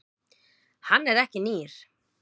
Hann er ekki nýr.